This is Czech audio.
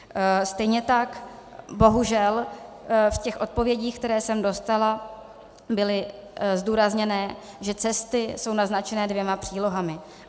Stejně tak bohužel v těch odpovědích, které jsem dostala, bylo zdůrazněné, že cesty jsou naznačené dvěma přílohami.